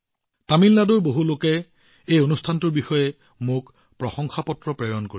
তামিলনাডুৰ বহুলোকে এই অনুষ্ঠানটোৰ সন্দৰ্ভত মোলৈ প্ৰশংসামূলক পত্ৰ লিখিছে